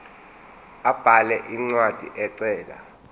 abhale incwadi ecela